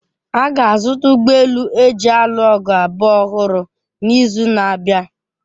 A ga-azụta ụgbọ elu eji alụ ọgụ abụọ ọhụrụ n'izu na-abịa.